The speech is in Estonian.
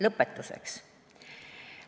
Lõpetuseks.